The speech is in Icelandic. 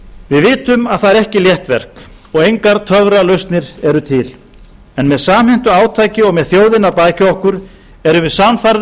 við vitum að það er ekki létt verk og engar töfralausnir eru til en með samhentu átaki og með þjóðina að baki okkur erum við sannfærð